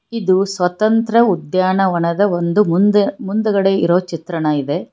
ಇದು ಸ್ವತಂತ್ರ ಉದ್ಯಾನವನದ ಒಂದು ಮುಂದೆ ಮುಂದ್ಗಡೆ ಇರೋ ಚಿತ್ರಣ ಇದೆ.